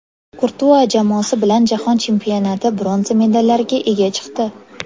Kurtua jamoasi bilan Jahon Chempionati bronza medallariga ega chiqdi.